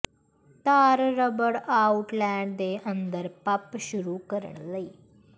ਤਾਰ rubber outlet ਦੇ ਅੰਦਰ ਪੰਪ ਸ਼ੁਰੂ ਕਰਨ ਲਈ